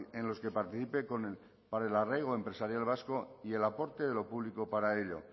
en los que participe para el arraigo empresarial vasco y el aporte de lo público para ello